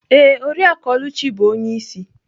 Ee, Oriakụ Oluchi bụ onye isi.